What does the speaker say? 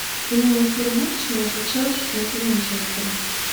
прямой эфир матча между челси и манчестером